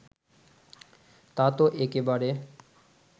তা তো একেবারে